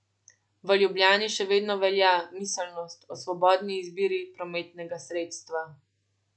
V Ljubljani še vedno velja miselnost o svobodni izbiri prometnega sredstva.